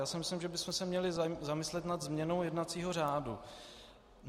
Já si myslím, že bychom se měli zamyslet nad změnou jednacího řádu.